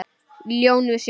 Lón við sjó.